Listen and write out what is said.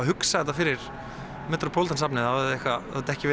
hugsa þetta fyrir metropolitan safnið þá hefði þetta ekki